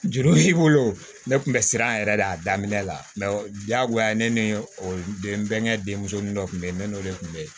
Juru y'i bolo ne tun bɛ siran yɛrɛ de a daminɛ la diyagoya ye ne ni n bɛnkɛ denmusonin dɔ tun bɛ yen ne n'o de tun bɛ yen